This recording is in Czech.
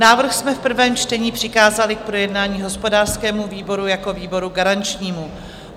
Návrh jsme v prvém čtení přikázali k projednání hospodářskému výboru jako výboru garančnímu.